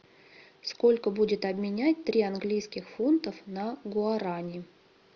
сколько будет обменять три английских фунтов на гуарани